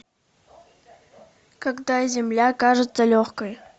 когда земля кажется легкой